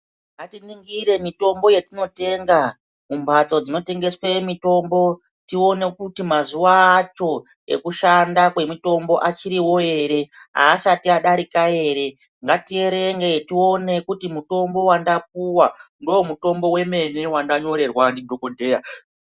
Ngatiningire mitombo yetinotenga kumbatso dzinotengeswe mitombo tione kuti mazuva acho ekushanda kwemitombo achiriwo ere, haasati adarika ere. Ngatierenge tione kuti mutombo wandapuwa ndoomutombo wemene wandanyorerwa ndidhokodheya.